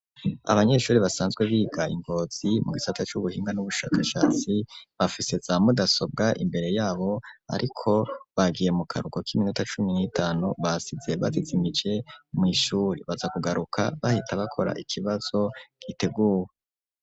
Abanyeshure, basanzwe biga i Ngozi, mu gisata c'ubuhinga, n'ubushakashatsi, bafise za mudasobwa, imbere yabo; ariko bagiye mu karuhuko, k'iminota cumi n'itanu; basize bazizimije, mw'ishure; baza kugaruka, bahita bakora, ikibazo giteguwe.